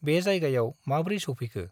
बे जायगायाव माब्रै सौफैखो ?